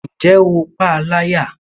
Ǹjẹ́ o pa a láyà?